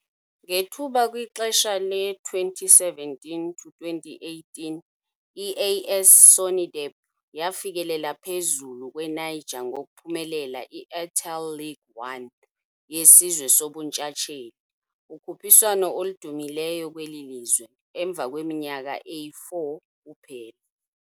Ngethuba kwixesha le-2017-2018, i-AS SONIDEP yafikelela phezulu kwe-Niger ngokuphumelela i-Airtel League 1 yeSizwe soBuntshatsheli, ukhuphiswano oludumileyo kweli lizwe, emva kweminyaka eyi-4 kuphela.